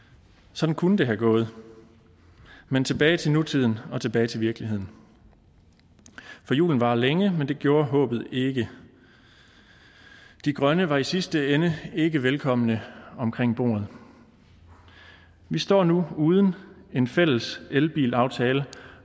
sådan kunne det være gået men tilbage til nutiden og tilbage til virkeligheden for julen varer længe men det gjorde håbet ikke de grønne var i sidste ende ikke velkomne omkring bordet vi står nu uden en fælles elbilaftale